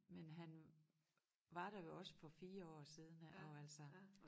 Men han var der jo også for 4 år siden ik og altså